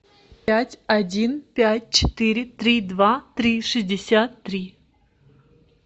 пять один пять четыре три два три шестьдесят три